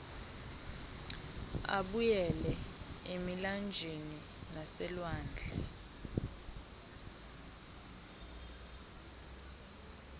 abuyele emilanjeni naselwandle